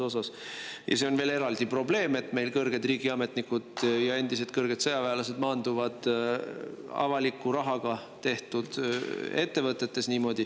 See on veel eraldi probleem, et meil kõrged riigiametnikud ja endised kõrged sõjaväelased maanduvad avaliku rahaga tehtud ettevõtetes.